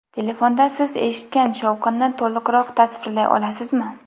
Telefonda siz eshitgan shovqinni to‘liqroq tasvirlay olasizmi?